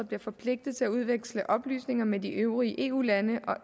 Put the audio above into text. bliver forpligtet til at udveksle oplysninger med de øvrige eu lande og